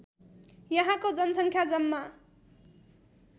यहाँको जनसङ्ख्या जम्मा